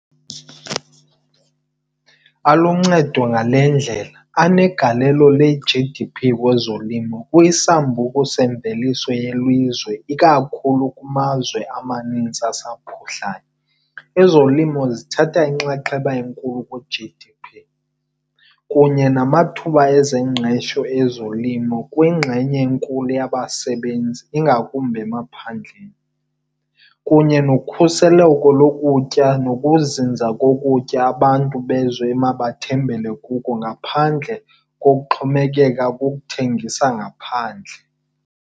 Aluncedo ngale ndlela, anegalelo le-G_D_P kwezolimo kwisambuku semveliso yelizwe ikakhulu kumazwe amaninzi asaphuhlayo. Ezolimo zithatha inxaxheba enkulu kwi-G_D_P kunye namathuba ezengqesho ezolimo kwingxenye enkulu yabasebenzi ingakumbi emaphandleni. Kunye nokhuseleko lokutya nokuzinza kokutya abantu bezwe emabathembele kuko ngaphandle kokuxhomekeka kukuthengisa ngaphandle.